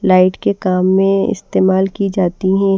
Light के काम में इस्तेमाल की जाती हैं।